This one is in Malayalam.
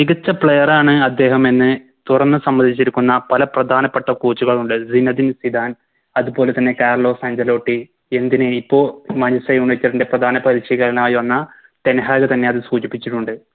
മികച്ച Player ആണ് അദ്ദേഹമെന്ന് തുറന്ന് സമ്മതിച്ചിരിക്കുന്ന പല പ്രധാനപ്പെട്ട Coach കളുണ്ട് സീനേദിൻ സിദാൻ അതുപോലെതന്നെ കാർലോസ് അൻസെലോട്ടി എന്തിന് ഇപ്പൊ Manchester united ൻറെ പ്രധാന പരിശീലകനായി വന്ന ടെൻ ഹാഗ് തന്നെയത് സൂചിപ്പിച്ചിട്ടുണ്ട്